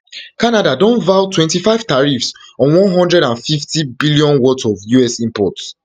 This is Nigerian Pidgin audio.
canada don vow twenty-five tariffs on one hundred and fiftybn worth of us imports